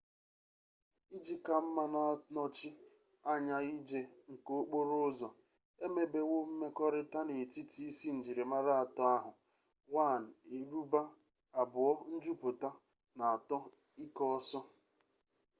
iji ka mma na-anọchi anya ije nke okporo ụzọ e mebewo mmekọrịta n'etiti isi njirimara atọ ahụ: 1 eruba 2 njupụta na 3 ike ọsọ